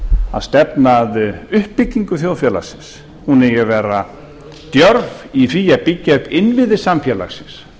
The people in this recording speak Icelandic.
að stefna að uppbyggingu þjóðfélagsins hún eigi að vera djörf í því að byggja upp innviði samfélagsins